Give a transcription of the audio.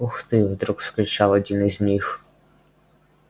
ух ты вдруг вскричал один из них